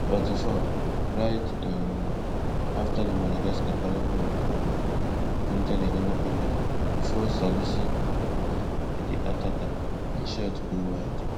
forty-fourright um afta dat madagascar carry ball um enta di ghana area bifor salisu block di di attacker im shot go wide